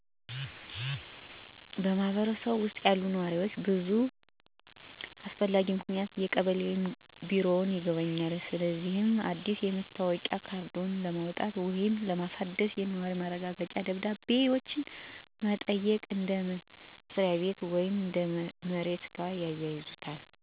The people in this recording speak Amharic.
በማህበረሰቡ ውስጥ ያሉ ነዋሪዎች ለብዙ አስፈላጊ ምክንያቶች የቀበሌ ቢሮን ይጎበኛሉ። እነዚህም አዲስ የመታወቂያ ካርዶችን ለማውጣት ወይም ለማሳደስ፣ የነዋሪ ማረጋገጫ ደብዳቤዎችን መጠየቅ፣ እንደ መኖሪያ ቤት ወይም ከመሬት ጋር የተያያዙ ሰነዶች ላሉ አገልግሎቶች ለማመልከት እና ለማህበራዊ ወይም ህጋዊ ጉዳዮች የድጋፍ ደብዳቤዎችን ማግኘት ያካትታሉ። አንዳንዶች እንደ ጋብቻ፣ መውለድ ወይም ሞት ያሉ በቤተሰብ ሁኔታ ላይ የሚኖሩ ለውጦችን ሪፖርት ለማድረግ ወይም ለችግር ተጋላጭ ሁኔታዎችን ለማሳወቅ ወይም ድጋፍን ለማግኘት ቢሮውን ይጎበኛሉ።